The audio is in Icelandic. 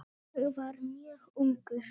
Ég var mjög ungur.